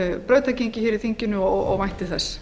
brautargengi í þinginu og vænti þess